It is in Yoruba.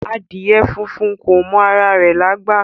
Adìẹ funfun kò mọ ara rẹ̀lágbà